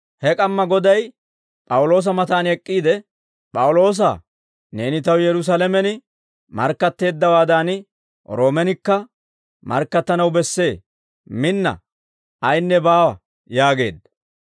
He k'amma Goday P'awuloosa matan ek'k'iide, «P'awuloosaa, neeni taw Yerusaalamen markkatteeddawaadan, Roomenkka markkattanaw bessee; minna; ayinne baawa» yaageedda.